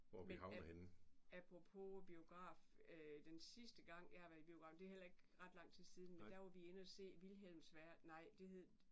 Men apropos biograf den sidste gang jeg har været biografen det er heller ret ikke lang tid siden men der var vi inde og se Vilhems nej det hed